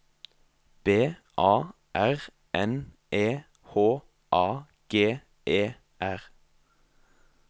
B A R N E H A G E R